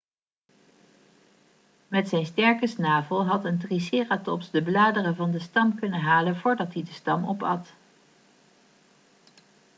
met zijn sterke snavel had een triceratops de bladeren van de stam kunnen halen voordat hij de stam opat